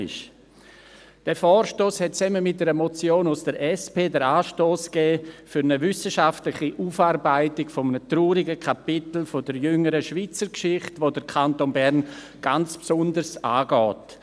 Dieser Vorstoss gab zusammen mit einer Motion seitens der SP den Anstoss für eine wissenschaftliche Aufarbeitung eines traurigen Kapitels der jüngeren Schweizer Geschichte, das den Kanton Bern ganz besonders angeht.